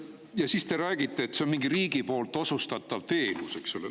Ja siis te räägite, et see on mingi riigi osutatav teenus, eks ole.